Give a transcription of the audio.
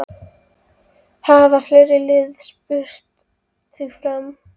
Hafa fleiri lið spurst fyrir um þig?